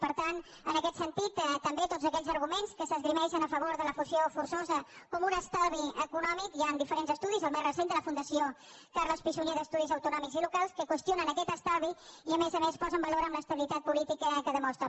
per tant en aquest sentit també tots aquells arguments que s’esgrimeixen a favor de la fusió forçosa com un estalvi econòmic hi han diferents estudis el més recent de la fundació carles pi i sunyer d’estudis autonòmics i locals que qüestionen aquest estalvi i a més a més posen valor en estabilitat política que demostra